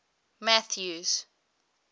mathews